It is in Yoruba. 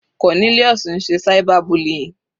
Cornelius ń ṣe cyber bullying.